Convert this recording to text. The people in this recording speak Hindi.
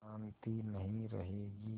शान्ति नहीं रहेगी